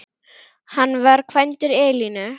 Hann var kvæntur Elínu